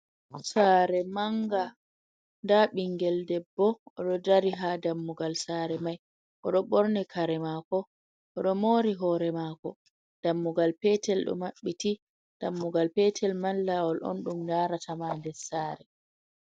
Sare manga, nda ɓingel debbo oɗo dari ha dammugal sare mai, oɗo borni kare mako, oɗo mori hore mako, dammugal petel ɗo maɓɓiti. dammugal petel man lawol on ɗum yaratama nder sare.